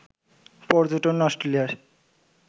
পর্যটন অস্ট্রেলিয়ার